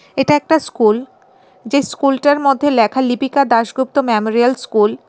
এটা একটা স্কুল যেই স্কুলটার মধ্যে লেখা লিপিকা দাশগুপ্ত মেমোরিয়াল স্কুল